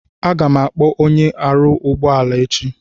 Aga m akpọ onye na aru ugbo ala echi